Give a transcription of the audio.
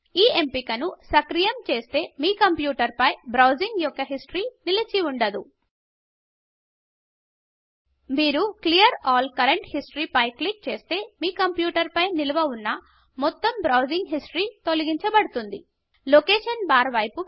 ఈ ఎంపిక ను సక్రియం చేస్తే మీ కంప్యూటర్ పై మీ బ్రౌసింగ్ యొక్క హిస్టరీ నిలిచి ఉండదు మీరు clear all current history clear all current history పై క్లిక్ చేస్తే మీ కంప్యూటర్ పై నిలువ ఉన్న మొత్తం బ్రౌసింగ్ హిస్టరీ తొలగించ బడుతుంది లొకేషన్ బార్ వైపు వెళ్దాం